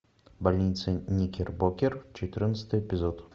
больница никербокер четырнадцатый эпизод